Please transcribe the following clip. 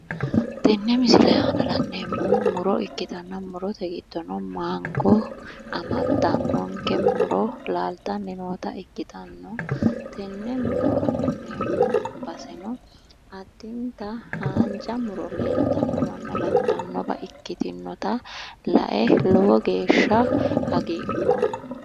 Tenne misile aana le'neemmohu muro ikkitanna murote giddono mango amaddannonke muro laaltanni noota ikkitanna tenne muro afi'neemmo baseno addinta haanja muro leeltannowanna lattannowa ikkinnota lae lowo geeshsha hagiidhoomma.